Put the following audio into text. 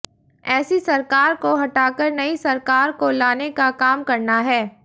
ऐसी सरकार को हटाकर नई सरकार को लाने का काम करना है